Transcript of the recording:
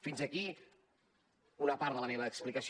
fins aquí una part de la meva explicació